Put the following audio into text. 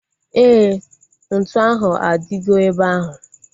Éè, ntụ ahu adigo ebe ahu